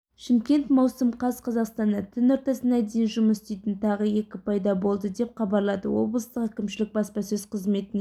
шымкент маусым қаз қазақстанда түн ортасына дейін жұмыс істейтін тағы екі пайда болды деп хабарлады облыстық әкімшілік баспасөз қызметінен